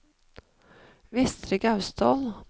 Vestre Gausdal